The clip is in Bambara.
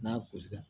N'a gosili